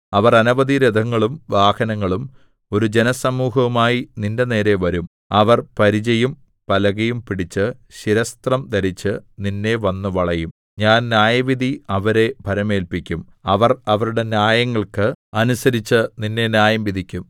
അവർ അനവധി രഥങ്ങളും വാഹനങ്ങളും ഒരു ജനസമൂഹവുമായി നിന്റെനേരെ വരും അവർ പരിചയും പലകയും പിടിച്ച് ശിരസ്ത്രം ധരിച്ച് നിന്നെ വന്നു വളയും ഞാൻ ന്യായവിധി അവരെ ഭരമേല്പിക്കും അവർ അവരുടെ ന്യായങ്ങൾക്ക് അനുസരിച്ച് നിന്നെ ന്യായംവിധിക്കും